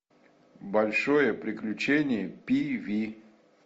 большое приключение пи ви